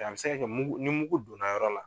A bɛ se ka mugu ni mugu donna yɔrɔ la.